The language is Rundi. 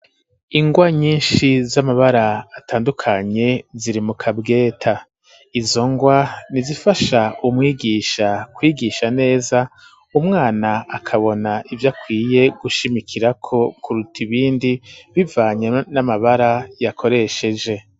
Ingwa nyinshi z'amabara atandukanye ziri mu kabweta izo ngwa ni zifasha umwigisha kwigisha neza umwana akabona ivyo akwiye gushimikirako kuruta ibindi bivanyana n'amabara yakoresheje.